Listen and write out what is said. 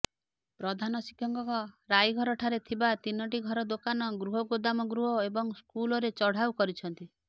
ପ୍ରଧାନ ଶିକ୍ଷକଙ୍କ ରାଇଘରଠାରେ ଥିବା ତିନିଟି ଘର ଦୋକାନ ଗୃହ ଗୋଦାମ ଗୃହ ଏବଂ ସ୍କୁଲରେ ଚଢ଼ାଉ କରିଛନ୍ତି